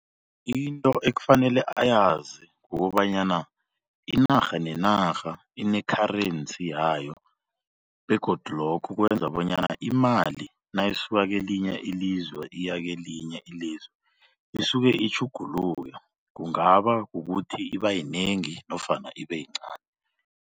Into ekufanele ayazi kukobanyana inarha nenarha ine-currency yayo begodu lokho kwenza bonyana imali nayisuka kelinye ilizwe iya kelinye ilizwe isuke itjhugululwe kungaba kukuthi iba yinengi nofana ibe yincani.